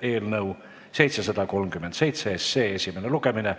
eelnõu 737 esimene lugemine.